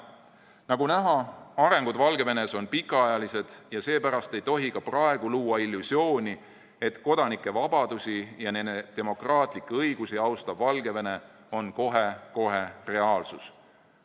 Nagu näha, arengud Valgevenes on pikaajalised, ja seepärast ei tohi ka praegu luua illusiooni, et kodanike vabadusi ja nende demokraatlikke õigusi austav Valgevene on kohe-kohe reaalsus.